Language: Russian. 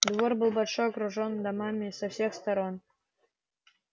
двор был большой окружённый домами со всех сторон